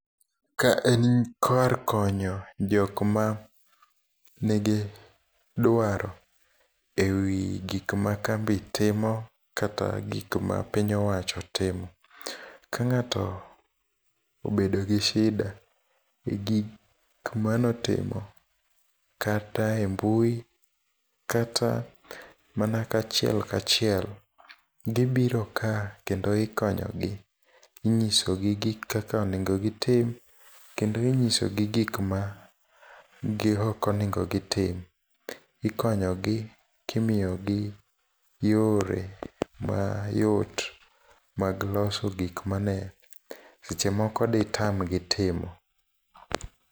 Ka en kar konyo jokma nigi dwaro ewi gik ma kambi timo, kata gik ma piny owacho timo. Ka ng'ato obedo gi shida e gik manotimo, kata e mbui kata mana kachiel kachiel, gibiro ka kendo ikonyogi. Inyisogi kaka onego gitim, kendo inyisogi gi gik ma gi okonego gitim. Ikonyogi kimiyogi yore ma yot mag loso gikmane seche moko detam gi timo.